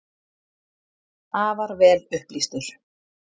Afar vel upplýstur.